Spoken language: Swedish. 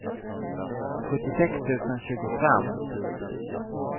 sjuttiosex tusen tjugofem